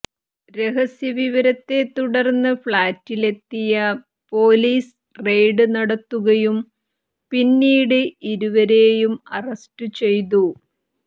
രഹസ്യവിവരത്തെ തുടര്ന്ന ഫഌറ്റിലെത്തിയ പോലീസ് റെയ്ഡ് നടത്തുകയും പിന്നീട് ഇരുവരെയും അറസ്റ്റു ചെയ്തു